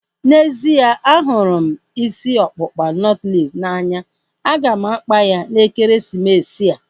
N'ezie, ahụrụ m isi ọkpụkpa nọtlees n'anya. A ga m akpa ya n'ekeresimesi a